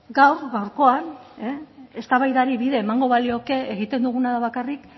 gaurkoan eztabaidari bide emango balioke egiten duguna da bakarrik